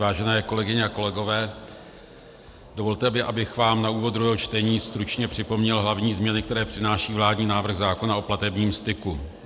Vážené kolegyně a kolegové, dovolte mi, abych vám na úvod druhého čtení stručně připomněl hlavní změny, které přináší vládní návrh zákona o platebním styku.